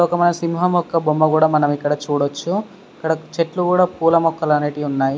ఇక్కడ ఒక మనం సింహం యొక్క బొమ్మ కూడా మనం ఇక్కడ చూడొచ్చు ఇక్కడ చెట్లు కూడా పూల మొక్కలు అనేటివి ఉ న్నాయి.